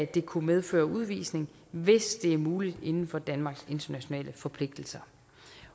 det kunne medføre udvisning hvis det er muligt inden for danmarks internationale forpligtelser